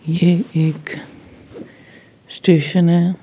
ये एक स्टेशन है।